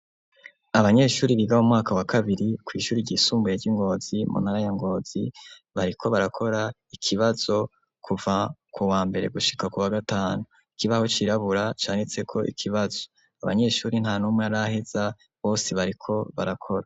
Abanyeshuri biga mu mwaka wa kabiri ku ishuri ryisumbuye ryi Ngozi muntara ya Ngozi bariko barakora ikibazo kuva ku wa mbere gushika ku wa gatanu ikibaho cirabura canditse ko ikibazo abanyeshuri nta numwe araheza bose bariko barakora.